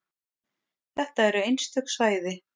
Þetta eru einstök svæði.